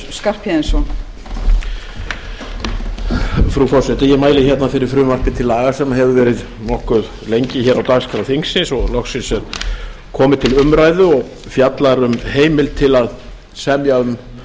virðulegi forseti ég mæli fyrir frumvarpi til laga sem hefur verið nokkuð lengi á dagskrá þingsins og loksins er komið til umræðu og fjallar um um heimild til samninga um